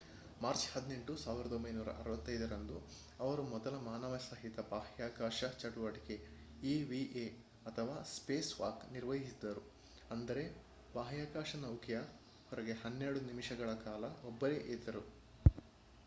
March 18 1965 ರಂದು ಅವರು ಮೊದಲ ಮಾನವಸಹಿತ ಬಾಹ್ಯಾಕಾಶ ಚಟುವಟಿಕೆ ಇವಿಎ ಅಥವಾ ಸ್ಪೇಸ್‌ವಾಕ್ ನಿರ್ವಹಿಸಿದರು ಅಂದರೆ ಬಾಹ್ಯಾಕಾಶ ನೌಕೆಯ ಹೊರಗೆ ಹನ್ನೆರಡು ನಿಮಿಷಗಳ ಕಾಲ ಒಬ್ಬರೇ ಇದ್ದರು